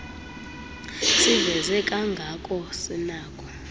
siveze kangako sinakho